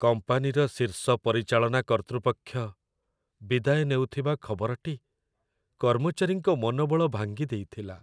କମ୍ପାନୀର ଶୀର୍ଷ ପରିଚାଳନା କର୍ତ୍ତୃପକ୍ଷ ବିଦାୟ ନେଉଥିବା ଖବରଟି କର୍ମଚାରୀଙ୍କ ମନୋବଳ ଭାଙ୍ଗିଦେଇଥିଲା।